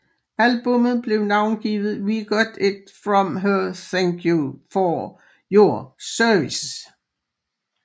Albummet blev navngivet We Got It From Here Thank You 4 Your Service